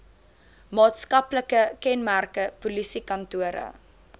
maatskaplike kenmerke polisiekantore